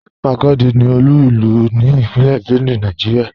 Makurdi ní olú ilú ní Ìpínlẹ̀ Benue, Nàìjíríà.